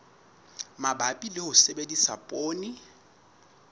mabapi le ho sebedisa poone